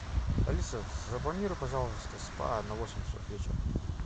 алиса забронируй пожалуйста спа на восемь часов вечера